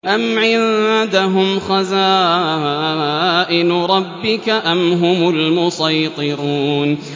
أَمْ عِندَهُمْ خَزَائِنُ رَبِّكَ أَمْ هُمُ الْمُصَيْطِرُونَ